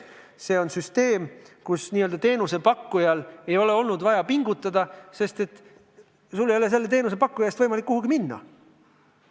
See on süsteem, kus n-ö teenusepakkujal ei ole olnud vaja pingutada, sest sul ei ole selle teenusepakkuja eest võimalik kuhugi minna.